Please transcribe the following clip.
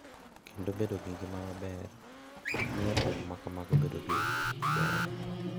Kendo bedo gi ngima maber miyo temo ma kamago bedo gi ber.